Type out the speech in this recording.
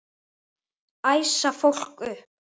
Æsa fólk upp?